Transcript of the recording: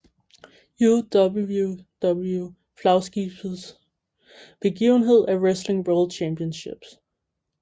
UWW flagskibetsbegivenhed er Wrestling World Championships